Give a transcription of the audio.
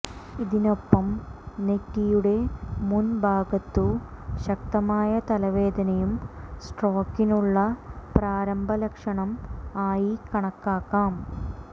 ഇതിനൊപ്പം നെറ്റിയുടെ മുന് ഭാഗത്തു ശക്തമായ തലവേദനയും സ്ട്രോക്കിനുള്ള പ്രാരംഭ ലക്ഷണം ആയി കണക്കാക്കാം